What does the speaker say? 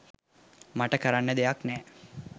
මට කරන්න දෙයක් නෑ..